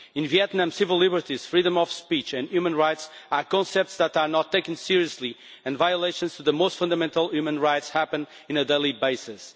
In Vietnam, civil liberties, freedom of speech and human rights are concepts that are not taken seriously and violations of the most fundamental human rights happen on a daily basis.